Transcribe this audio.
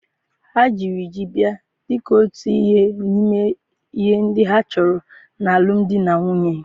Ha jiri ji bịa dị ka otu ihe n'ime ihe ndị a chọrọ n'alụm di na nwunye